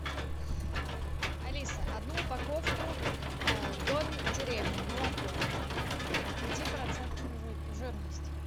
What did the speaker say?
алиса одну упаковку домик в деревне молоко пятипроцентной жирности